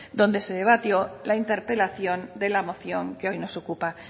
donde se debatió la interpelación de la moción que hoy nos ocupa